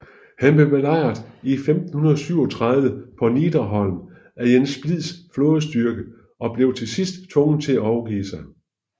Han blev belejret i 1537 på Nidarholm af Jens Splids flådestyrker og blev til sidst tvunget til at overgive sig